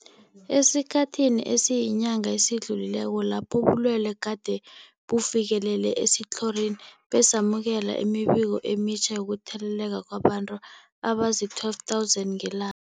Esikhathini esiyinyanga esidlulileko lapho ubulwele gade bufikelele esitlhorini, besamukela imibiko emitjha yokutheleleka kwabantu abazii-12 000 ngela